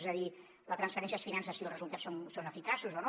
és a dir la transferència es finança si els resultats són eficaços o no